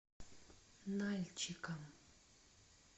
нальчиком